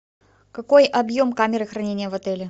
какой объем камеры хранения в отеле